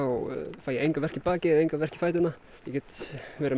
fæ enga verki í bakið enga verki í fæturnar get verið með